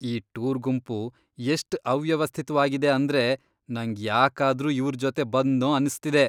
ಈ ಟೂರ್ ಗುಂಪು ಎಷ್ಟ್ ಅವ್ಯವಸ್ಥಿತ್ವಾಗಿದೆ ಅಂದ್ರೆ ನಂಗ್ ಯಾಕಾದ್ರೂ ಇವ್ರ್ ಜೊತೆ ಬಂದ್ನೋ ಅನ್ಸ್ತಿದೆ.